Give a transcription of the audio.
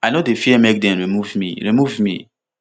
i no dey fear make dem remove me remove me